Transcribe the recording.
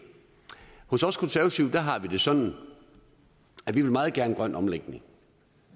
hos os konservative har vi det sådan at vi meget gerne vil grøn omlægning